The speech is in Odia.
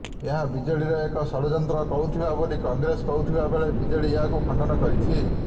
ଏହା ବିଜେଡ଼ିର ଏକ ଷଡଯନ୍ତ୍ର କହୁଥିବା ବୋଲି କଂଗ୍ରେସ କହୁଥିବା ବେଳେ ବିଜେଡ଼ି ଏହାକୁ ଖଣ୍ଡନ କରିଛି